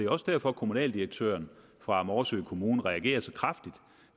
også derfor at kommunaldirektøren fra morsø kommune reagerer så kraftigt